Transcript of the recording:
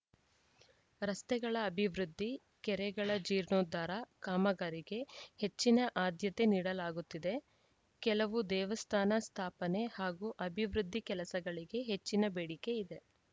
ರಸ್ತೆಗಳ ಅಭಿವೃದ್ಧಿ ಕೆರೆಗಳ ಜೀರ್ಣೋದ್ಧಾರ ಕಾಮಗಾರಿಗೆ ಹೆಚ್ಚಿನ ಆದ್ಯತೆ ನೀಡಲಾಗುತ್ತಿದೆ ಕೆಲವು ದೇವಸ್ಥಾನ ಸ್ಥಾಪನೆ ಹಾಗೂ ಅಭಿವೃದ್ಧಿ ಕೆಲಸಗಳಿಗೆ ಹೆಚ್ಚಿನ ಬೇಡಿಕೆ ಇದೆ